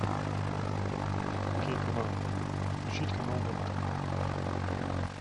окей канал включить канал доктор